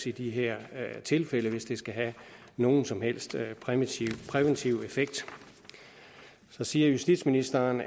i de her tilfælde hvis det skal have nogen som helst præventiv præventiv effekt så siger justitsministeren